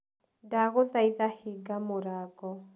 Ndagũthaitha hinga mũrango.